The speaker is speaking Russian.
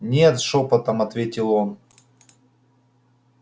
нет шёпотом ответил он